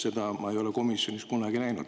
Seda ma ei ole komisjonis kunagi näinud.